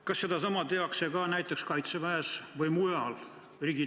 Kas sedasama tehakse ka näiteks Kaitseväes?